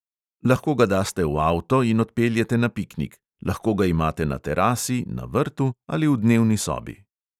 Lahko ga daste v avto in odpeljete na piknik; lahko ga imate na terasi, na vrtu ali v dnevni sobi.